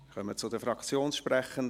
Wir kommen zu den Fraktionssprechenden.